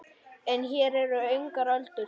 En hér eru engar öldur.